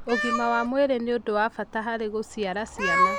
Ũgima wa mwĩrĩ nĩ ũndũ wa bata harĩ gũcĩara ciana.